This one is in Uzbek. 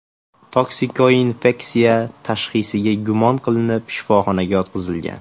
Toksikoinfeksiya” tashxisiga gumon qilinib, shifoxonaga yotqizilgan.